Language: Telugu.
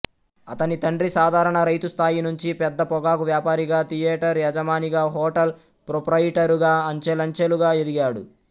అతని తండ్రి సాధారణ రైతు స్థాయి నుంచి పెద్ద పొగాకు వ్యాపారిగా థియేటర్ యజమానిగా హోటల్ ప్రొప్రయిటరుగా అంచెలంచెలుగా ఎదిగాడు